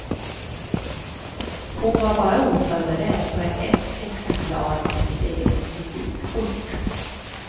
Hon var bara oförberedd på ett exemplar av sitt eget visitkort.